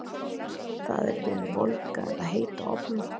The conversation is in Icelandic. Það er við volga eða heita ofna.